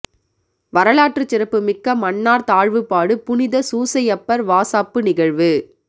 வரலாற்றுச் சிறப்பு மிக்க மன்னார் தாழ்வுபாடு புனித சூசையப்பர் வாசாப்பு நிகழ்வு